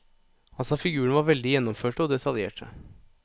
Han sa figurene var veldig gjennomførte og detaljerte.